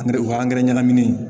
Angɛrɛ o angɛrɛ ɲɛnamini